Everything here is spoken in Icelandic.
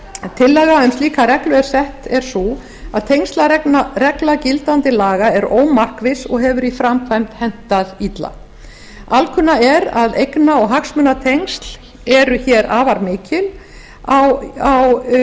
tillaga um slíka reglu er sett er sú að tengslaregla gildandi laga er ómarkviss og hefur í framkvæmd hentað illa alkunna er að eigna og hagsmunatengsl eru hér afar mikil í